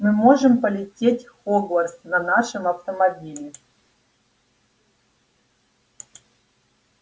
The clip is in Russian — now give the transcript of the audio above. мы можем полететь в хогвартс на нашем автомобиле